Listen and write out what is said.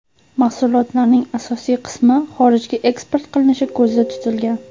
Mahsulotlarning asosiy qismi xorijga eksport qilinishi ko‘zda tutilgan.